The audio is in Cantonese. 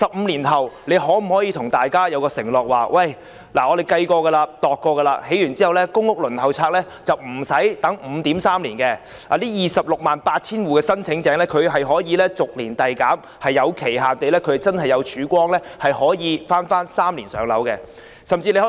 政府可否向大家承諾，表明在這些單位建成後，公屋輪候時間不會再長達 5.3 年 ，268,000 戶的公屋申請者將逐年遞減，可在某個期限內真正做到3年"上樓"？